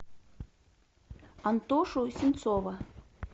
антошу синцова